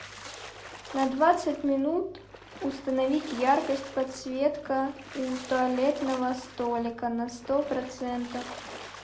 на двадцать минут установить яркость подсветка у туалетного столика на сто процентов